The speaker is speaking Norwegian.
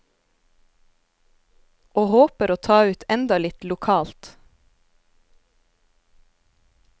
Og håper å ta ut enda litt lokalt.